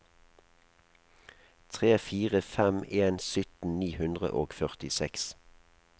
tre fire fem en sytten ni hundre og førtiseks